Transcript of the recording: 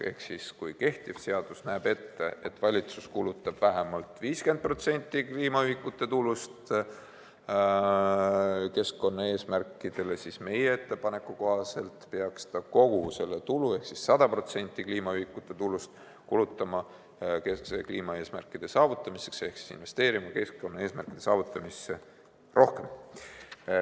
Ehk kehtiv seadus näeb ette, et valitsus kulutab vähemalt 50% kliimaühikute tulust keskkonnaeesmärkidele, seevastu meie ettepaneku kohaselt peaks ta kogu tulu ehk 100% kliimaühikute tulust kulutama kliimaeesmärkide saavutamisele ehk investeerima keskkonnaeesmärkide saavutamisse rohkem.